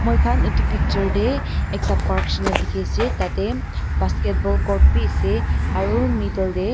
moi khan etu picture tey ekta park nishi na dikey ase tai basketball court b ase aro middle tey.